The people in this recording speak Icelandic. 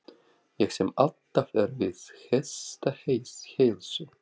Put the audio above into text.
Ég sem alltaf er við hestaheilsu!